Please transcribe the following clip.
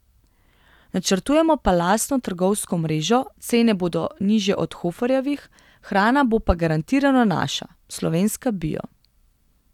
Načrtujemo pa lastno trgovsko mrežo, cene bodo nižje od Hoferjevih, hrana bo pa garantirano naša, slovenska bio.